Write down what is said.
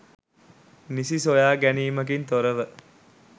නිසි සොයා ගැනීමකින් තොරව